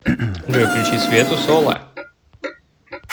джой включи свету солла